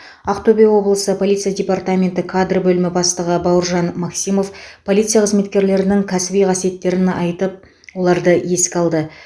ақтөбе облысы полиция департаменті кадр бөлімі бастығы бауыржан максимов полиция қызметкерлерінің кәсіби қасиеттерін айтып оларды еске алды